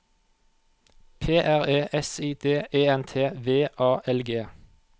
P R E S I D E N T V A L G